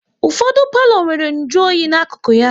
Ụfọdụ palo nwéré nju oyi n'akụkụ ya